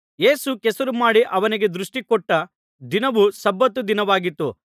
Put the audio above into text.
ಯೇಸು ಕೆಸರು ಮಾಡಿ ಅವನಿಗೆ ದೃಷ್ಟಿ ಕೊಟ್ಟ ದಿನವು ಸಬ್ಬತ್ ದಿನವಾಗಿತ್ತು